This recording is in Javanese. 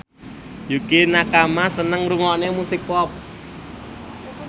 Yukie Nakama seneng ngrungokne musik pop